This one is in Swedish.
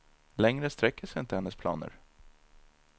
Längre sträcker sig inte hennes planer.